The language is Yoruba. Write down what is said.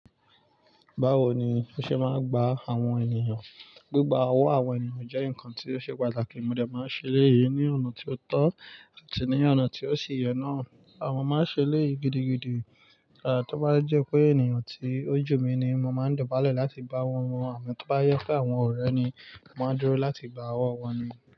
Báwo ni o ṣe máa ń gba àwọn ènìyàn? Gbigba owó àwọn ènìyàn jẹ́ ǹkan ti o ṣe pàtàkì, mo dà máa ń ṣe eleyii ní ọ̀nà ti o tọ́ àti ní ọ̀nà tí ó sì yẹ náà. Mo máa ń ṣe eléyìi gidigidi. Tí ó bá jẹ́ pé ènìyàn tí o jú mi ni mo máa ń dobálẹ̀ láti gbá owó wọn, àmọ́ tí ó bá jẹ pé àwọn ọ̀rẹ́ ni, mo máa n dúró láti gba owó wọn ni.